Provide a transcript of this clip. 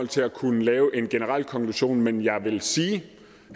til at kunne lave en generel konklusion men jeg vil sige